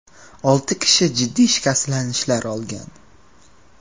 Olti kishi jiddiy shikastlanishlar olgan.